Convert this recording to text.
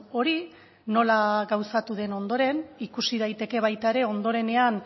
hori nola gauzatu den ondoren ikusi daiteke baita ere ondorenean